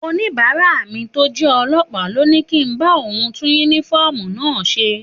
Òníbàárá mi tó jẹ́ ọlọ́pàá ló ní kí n bá òun tún yúnífọ́ọ̀mù náà ṣe